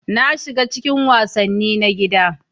Na shiga cikin wasanni na gida.